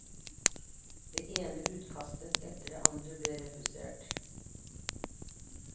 Det ene utkastet etter det andre ble refusert.